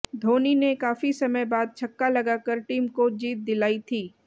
धोनी ने काफी समय बाद छक्का लगाकर टीम को जीत दिलाई थी